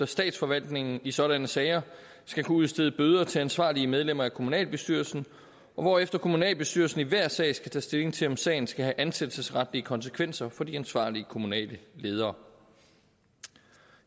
statsforvaltningen i sådanne sager skal kunne udstede bøder til ansvarlige medlemmer af kommunalbestyrelsen og hvorefter kommunalbestyrelsen i hver sag skal tage stilling til om sagen skal have ansættelsesretlige konsekvenser for de ansvarlige kommunale ledere